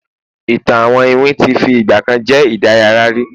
ìtàn àwọn iwin ti fi igbakan je idaraya ri